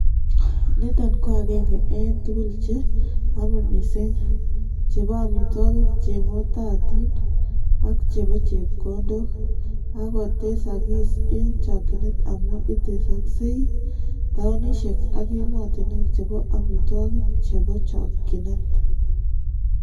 Niito ko agenge eng' tuguuk che ki amei miising', che po amitwogik che ng'ootaatiin, ak che po chepkondok, ak kotesagis eng' chokyinet amu itesoksei taunisyek ak emotinwek che bo amitwogik che bo chokchinet.